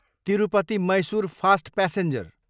Tirupati, Mysuru fast passenger